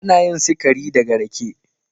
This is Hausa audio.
Ana yin sikari daga rake.